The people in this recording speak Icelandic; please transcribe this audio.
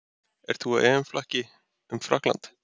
Ert þú á EM-flakki um Frakkland?